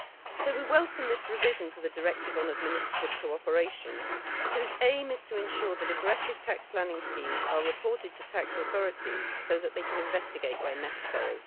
so we welcome this revision to the directive on administrative cooperation, whose aim is to ensure that aggressive tax planning schemes are reported to tax authorities so that they can investigate where necessary.